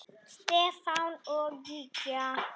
Stefán og Gígja.